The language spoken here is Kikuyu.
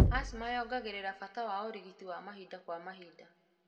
Asthma yongagĩrĩra bata wa ũrigiti wa mahinda kwa mahinda.